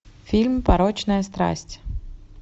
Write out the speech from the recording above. фильм порочная страсть